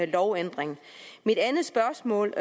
lovændring mit andet spørgsmål